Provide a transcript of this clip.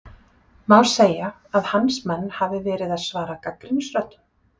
Má segja að hans menn hafi verið að svara gagnrýnisröddum?